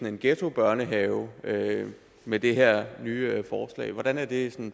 en ghettobørnehave med det her nye forslag hvordan er det